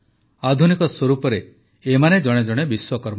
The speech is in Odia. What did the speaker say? ଆଧୁନିକ ସ୍ୱରୂପରେ ଏମାନେ ଜଣେ ଜଣେ ବିଶ୍ୱକର୍ମା